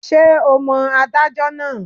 Ṣé o mọ adájọ́ náà?